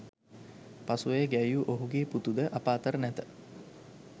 පසුව එය ගැයූ ඔහුගේ පුතු ද අප අතර නැත